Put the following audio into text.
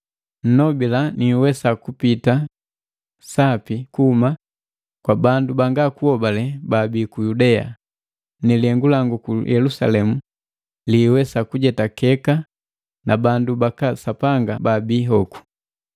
Nnobila niwesa kupita sapi kuhuma kwa bandu banga kuhobale baabii ku Yudea, na lihengu langu ku Yelusalemu liwesa kujetakeka na bandu baka Sapanga baabi hoku.